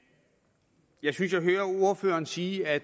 jeg synes jeg hører ordføreren sige at